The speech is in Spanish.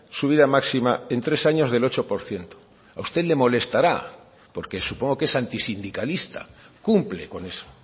subida máxima en tres años del ocho por ciento a usted le molestará porque supongo que es anti sindicalista cumple con eso